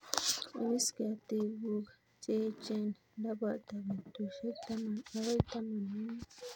Ipis ketik guk che echen ndapata petushek taman agoi taman ak mut